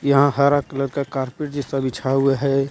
यहां हरा कलर का कारपेट जैसा बिछा हुआ है.